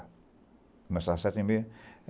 Começava às sete e meia.